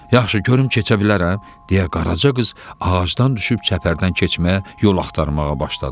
Yaxşı, görüm keçə bilərəm, deyə Qaraca qız ağacdan düşüb çəpərdən keçməyə yol axtarmağa başladı.